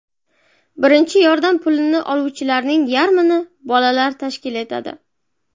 Birinchi yordam pulini oluvchilarning yarmini bolalar tashkil etadi.